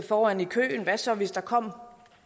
foran i køen hvad så hvis der kom